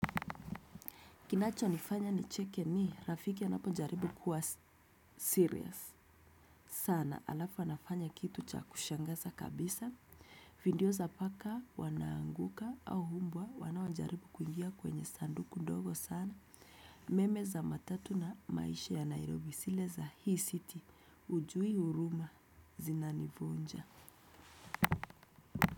Kinacho nifanya nicheke ni rafiki anapojaribu kuwa serious. Sana alafu anafanya kitu cha kushangaza kabisa. Video za paka wanaanguka au umbwa wanaojaribu kuingia kwenye sanduku ndogo sana. Meme za matatu na maisha ya Nairobi zile za hii city. Hujui huruma zinanivunja.